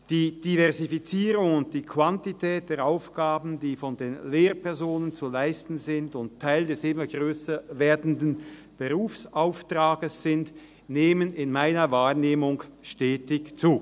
Die Diversifizierung und die Quantität der Aufgaben, die von den Lehrpersonen zu leisten sind und Teil des immer grösser werdenden Berufsauftrags sind, nehmen in meiner Wahrnehmung stetig zu.